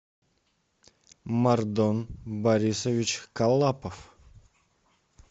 мардон борисович калапов